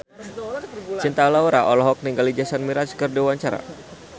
Cinta Laura olohok ningali Jason Mraz keur diwawancara